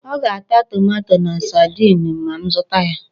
Ọ ga-ata tomato na sadin ma m zụta ha.